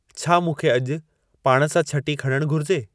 छा मूंखे अॼु पाण सां छटी खणणु घुर्जे